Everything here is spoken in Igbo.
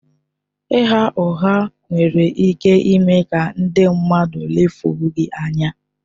Ịgha ụgha nwere ike ime ka ndị mmadụ lefuo gị anya.